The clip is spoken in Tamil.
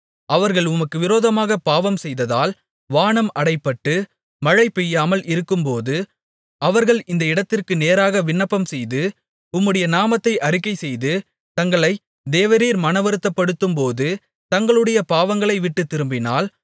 அவர்கள் உமக்கு விரோதமாகப் பாவம் செய்ததால் வானம் அடைபட்டு மழைபெய்யாமல் இருக்கும்போது அவர்கள் இந்த இடத்திற்கு நேராக விண்ணப்பம் செய்து உம்முடைய நாமத்தை அறிக்கைசெய்து தங்களை தேவரீர் மனவருத்தப்படுத்தும்போது தங்களுடைய பாவங்களைவிட்டுத் திரும்பினால்